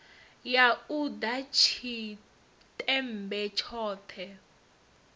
ya u ḓa tshiṱemmbe tshone